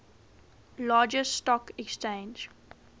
largest stock exchange